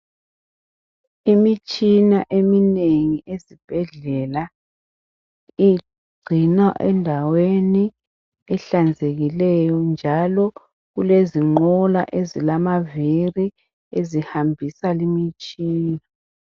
Imitshina eminengi esibhedlela igcinwa endaweni ehlanzekileyo njalo kulezinqola ezilamavili ezihambisa leyi mitshina